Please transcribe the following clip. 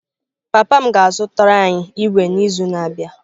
Papa m ga-azụtara anyị ígwè n’izu na-abịa